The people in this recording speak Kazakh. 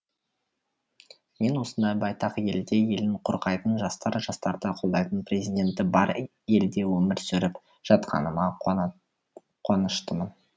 мен осындай байтақ елде елін қорғайтын жастары жастарды қолдайтын президенті бар елде өмір сүріп жатқаныма қуаныштымын